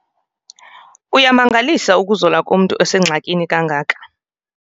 Kuyamangalisa ukuzola komntu osengxakini kangaka.